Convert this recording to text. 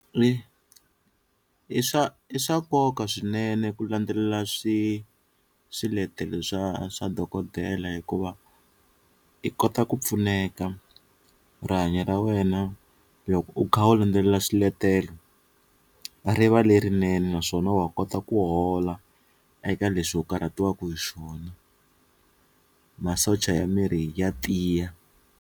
I swa i swa nkoka swinene ku landzelela swiletelo swa swa dokodela hikuva i kota ku pfuneka rihanyo ra wena loko u kha u landzelela swiletelo riva lerinene naswona wa kota ku hola eka leswi u karhataku hi swona masocha ya miri ya tiya.